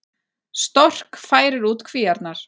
Stork færir út kvíarnar